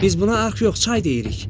Biz buna arx yox, çay deyirik.